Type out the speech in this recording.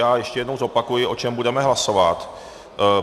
Já ještě jednou zopakuji, o čem budeme hlasovat.